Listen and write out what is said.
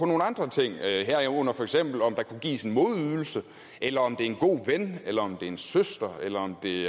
nogle andre ting herunder for eksempel om der kunne gives en modydelse eller om det er en god ven eller om det er en søster eller om det